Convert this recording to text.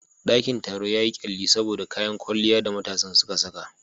Dakin taron yayi kyalli saboda kayan kwalliyar da matan suka saka.